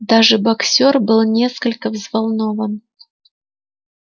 даже боксёр был несколько взволнован